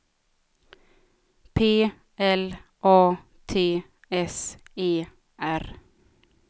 P L A T S E R